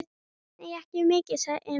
Nei, ekki mikið, sagði Emil.